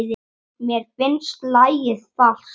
Mér finnst lagið falskt.